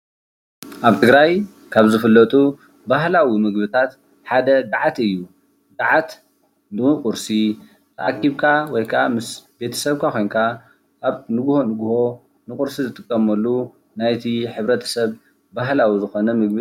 ኣብ ትግራይ ካብ ዝፍለጡ ባህላዊ ምግብታት ሓደ ጋዓት እዩ ጋዓት ንቁርሲ ተኣኪብካ ወይ ምስ ቤተሰብካ ኮንካ ኣብ ንጉሆ ንጉሆ ንቁርሲንጥቀመሉ ናይቲ ሕብረተሰብ ባህላዊ ምግቢ እዩ።